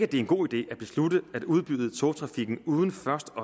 det er en god idé at beslutte at udbyde togtrafikken uden først at